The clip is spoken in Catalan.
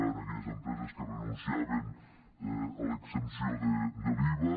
en aquelles empreses que re·nunciaven a l’exempció de l’iva